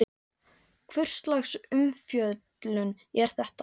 Hvurslags umfjöllun er þetta?